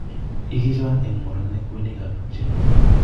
ikichon eng' morne kweyonikab tupchenyu